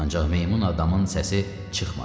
Ancaq meymun adamın səsi çıxmadı.